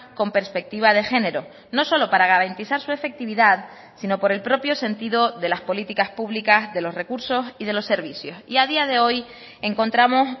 con perspectiva de género no solo para garantizar su efectividad sino por el propio sentido de las políticas públicas de los recursos y de los servicios y a día de hoy encontramos